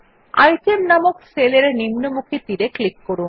item নামক cell এর নিম্নমুখী তীর এর উপর ক্লিক করুন